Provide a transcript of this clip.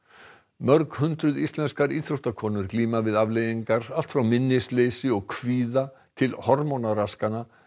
mörghundruð íslenskar íþróttakonur glíma við afleiðingar allt frá minnisleysi og kvíða til hormónaraskana